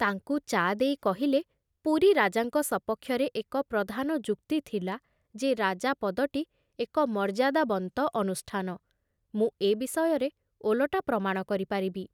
ତାଙ୍କୁ ଚା ଦେଇ କହିଲେ, ପୁରୀ ରାଜାଙ୍କ ସପକ୍ଷରେ ଏକ ପ୍ରଧାନ ଯୁକ୍ତି ଥିଲା ଯେ ରାଜା ପଦଟି ଏକ ମର୍ଯ୍ୟାଦାବନ୍ତ ଅନୁଷ୍ଠାନ; ମୁଁ ଏ ବିଷୟରେ ଓଲଟା ପ୍ରମାଣ କରିପାରିବି।